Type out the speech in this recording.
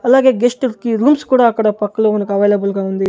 అలాగే గెస్ట్ లకి రూమ్స్ కూడా అక్కడ పక్కలో మనకి అవైలబుల్ గా ఉంది.